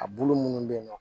A bulu munnu be yen nɔ